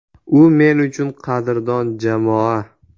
U men uchun qadrdon jamoa.